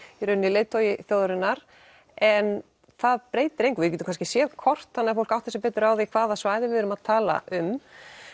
leiðtogi þjóðarinnar en það breytir engu við getum kannski séð kort þannig fólk átti sig betur á því hvaða svæði við erum að tala um